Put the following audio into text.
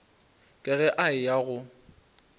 ka ge a eya go